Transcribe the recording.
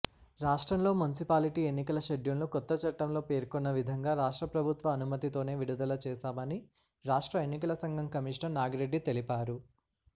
రాష్ట్రంలో మున్సిపాలిటీ ఎన్నికల షెడ్యూల్ను కొత్తచట్టంలో పేర్కొన్నవిధంగా రాష్ట్రప్రభుత్వ అనుమతితోనే విడుదలచేశామని రాష్ట్ర ఎన్నికలసంఘం కమిషనర్ నాగిరెడ్డి తెలిపారు